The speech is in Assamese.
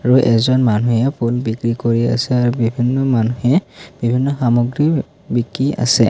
আৰু এজন মানুহে ফুল বিক্ৰী কৰি আছে আৰু বিভিন্ন মানুহে বিভিন্ন সামগ্ৰী বিকি আছে।